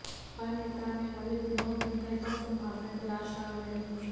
हर नेता अाने वाले दिनों में बेहतर संभावनाएं तलाश रहा है